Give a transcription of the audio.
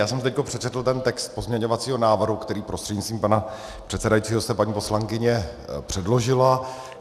Já jsem teď přečetl ten text pozměňovacího návrhu, který prostřednictvím pana předsedajícího jste, paní poslankyně, předložila.